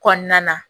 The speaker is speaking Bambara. Kɔnɔna na